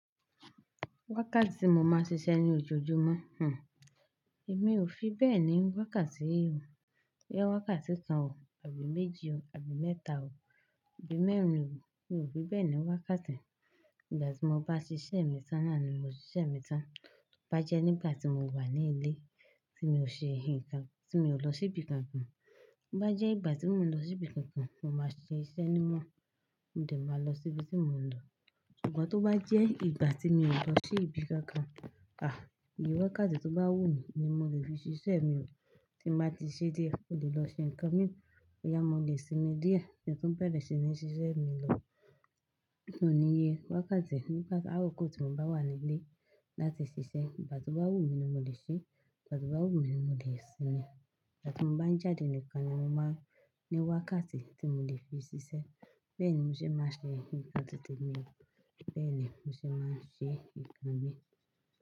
Wákàtí mo máa ń ṣiṣẹ́ ní ojoojúmọ́, hnhm. Èmi ò fi bẹ́ẹ̀ ni wákàtí. Bóyá wákàtí kan ò, àbí méjì o, àbí mẹ́ta o, àbí mẹ́rin o, mi ò fi bẹ́ẹ̀ ni wákàtí. Ìgbà tí mo bá ṣiṣẹ́ mi tán nà ni mo ṣiṣẹ́ mi tán. Bá jẹ́ nígbà tí mo wà ní ilé, tí mi ò ṣe nǹkan, tí mi ò lọ síbi kankan. Bá jẹ́ ìgbà tí mò ń lọ sí ibi kankan, mo máa ṣe iṣẹ́ níwọ̀n, mo dè máa lọ sí ibi tí mò ń lọ. Ṣùgbọ́n tó bá jẹ́ ìgbà tí mi ò lọ sí ibi kankan, àh, ìye wákàtí tó bá wù mí ni mo le fi ṣiṣẹ́ mi hàn. Tí mo bá ti ṣe dié, mò lè lọ ṣe nǹkan mí mọ̀. Ọ̀yá, mo lè sinmi díẹ̀, kí n tun beere ṣi ni ṣiṣẹ́ mi lọ. N ò níye wákàtí nígbà, tab'ákókó tí mo bá wà ní ilé láti ṣiṣẹ́. Ìgbà tó bá wù mí ni mo lè ṣe é, ìgbà tó bá wù mí ni mo lè sinmi. Ìgbà tí mo bá ń jáde nìkan ni mo máa ń ní wákàtí tí mo lè fi ṣiṣẹ́. Bẹ́ẹ̀ ni mo ṣe máa ń ṣe nǹkan titẹ mi, bẹ́ẹ̀ ni mo ṣe máa ń ṣe nǹkan mi.